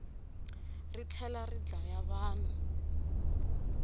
ri tlhelari dlaya vanhu